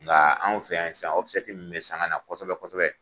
Nga anw fɛ yan sisan min bɛ sanga na kosɛbɛ kosɛbɛ